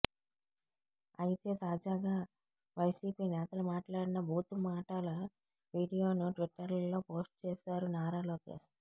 అయితే తాజాగా వైసీపీ నేతలు మాట్లాడిన బూతు మాటాల వీడియోను ట్విట్టర్లో పోస్ట్ చేశారు నారా లోకేశ్